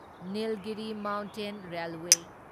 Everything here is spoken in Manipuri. Nilgiri mountain railway